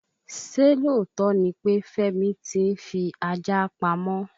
Ṣé lóòtó ni pe Femi ti ń fi ajá pamọ́?